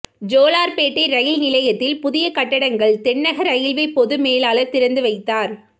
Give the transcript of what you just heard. Jolarpettai rail நிலையத்தில் புதிய கட்டடங்கள் தென்னக ரயில்வே பொது மேலாளா் திறந்து வைத்தாா்